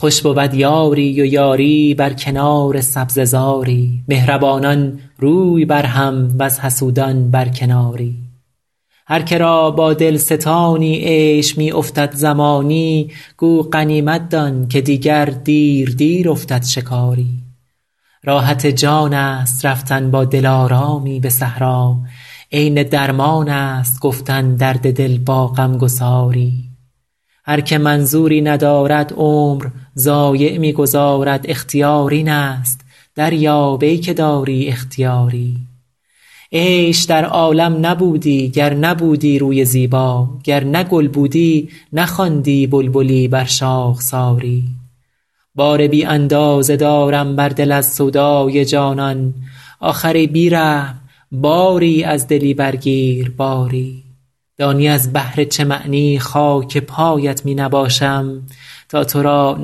خوش بود یاری و یاری بر کنار سبزه زاری مهربانان روی بر هم وز حسودان بر کناری هر که را با دل ستانی عیش می افتد زمانی گو غنیمت دان که دیگر دیر دیر افتد شکاری راحت جان است رفتن با دلارامی به صحرا عین درمان است گفتن درد دل با غم گساری هر که منظوری ندارد عمر ضایع می گذارد اختیار این است دریاب ای که داری اختیاری عیش در عالم نبودی گر نبودی روی زیبا گر نه گل بودی نخواندی بلبلی بر شاخساری بار بی اندازه دارم بر دل از سودای جانان آخر ای بی رحم باری از دلی برگیر باری دانی از بهر چه معنی خاک پایت می نباشم تا تو را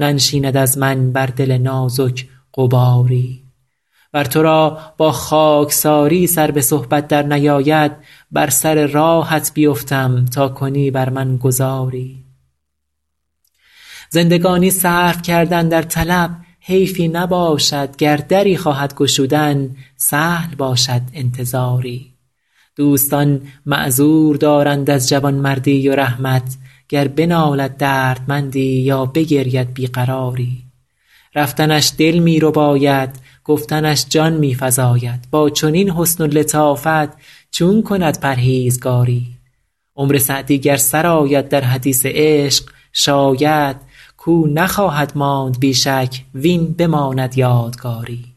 ننشیند از من بر دل نازک غباری ور تو را با خاکساری سر به صحبت درنیاید بر سر راهت بیفتم تا کنی بر من گذاری زندگانی صرف کردن در طلب حیفی نباشد گر دری خواهد گشودن سهل باشد انتظاری دوستان معذور دارند از جوانمردی و رحمت گر بنالد دردمندی یا بگرید بی قراری رفتنش دل می رباید گفتنش جان می فزاید با چنین حسن و لطافت چون کند پرهیزگاری عمر سعدی گر سر آید در حدیث عشق شاید کاو نخواهد ماند بی شک وین بماند یادگاری